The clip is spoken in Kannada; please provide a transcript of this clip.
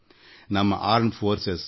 ಅದು ನಮ್ಮ ಸಶಸ್ತ್ರ ಪಡೆ ಇರಲಿ ಅಥವಾ ಬಿ